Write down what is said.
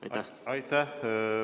Aitäh!